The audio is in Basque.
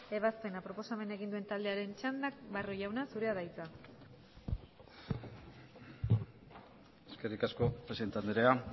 ebazpena proposamena egin duen taldearen txanda barrio jauna zurea da hitza eskerrik asko presidente andrea